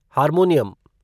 harmonium